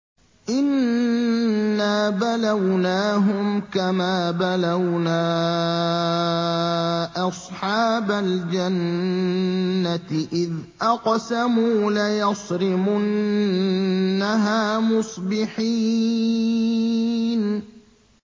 إِنَّا بَلَوْنَاهُمْ كَمَا بَلَوْنَا أَصْحَابَ الْجَنَّةِ إِذْ أَقْسَمُوا لَيَصْرِمُنَّهَا مُصْبِحِينَ